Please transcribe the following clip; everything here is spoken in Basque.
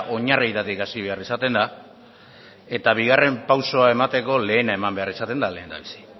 oinarrietatik hasi behar izaten da eta bigarren pausua emateko lehena eman behar izaten da lehendabizi